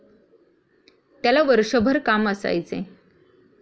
त्याला वर्षभर काम असायचे.